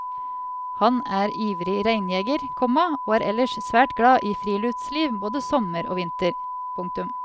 Han er ivrig reinjeger, komma og er ellers svært glad i friluftsliv både sommer og vinter. punktum